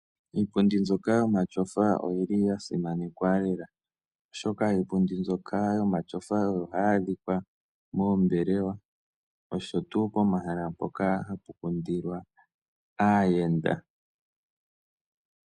Iipundi mbyoka yomatyofa oyi li ya simanekwa lela, oshoka iipundi mbyoka yomatyofa oyo hayi adhika moombelewa osho wo pomahala mpoka hapu kundilwa aayenda.